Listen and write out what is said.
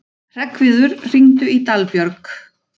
Hreggviður, hringdu í Dalbjörk.